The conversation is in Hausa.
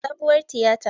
A sabuwar tiyata